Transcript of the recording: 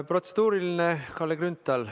Protseduuriline, Kalle Grünthal.